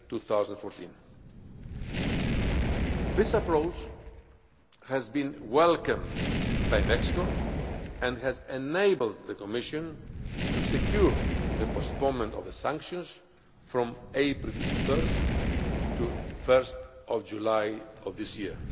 2014. This approach has been welcomed by Mexico and has enabled the Commission to secure the postponement of the sanctions from 1 April to 1 July of this year.